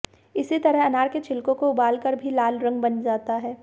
इसी तरह अनार के छिलकों को उबाल कर भी लाल रंग बन जाता है